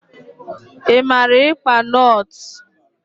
I mara ikpa notles?